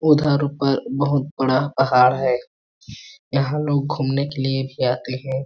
उधर ऊपर बहुत बड़ा पहाड़ है यहाँ लोग घूमने के लिए भी आते हैं।